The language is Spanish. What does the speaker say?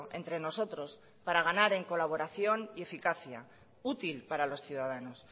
entre nosotros para ganar en colaboración y eficacia útil para los ciudadanos